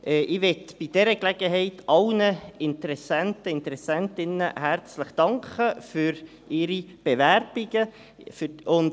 Ich möchte bei dieser Gelegenheit allen Interessenten und Interessentinnen herzlich für ihre Bewerbungen danken.